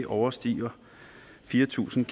overstiger fire tusind